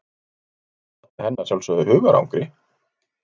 Þetta olli henni að sjálfsögðu hugarangri.